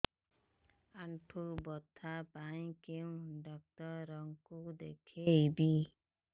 ଆଣ୍ଠୁ ବ୍ୟଥା ପାଇଁ କୋଉ ଡକ୍ଟର ଙ୍କୁ ଦେଖେଇବି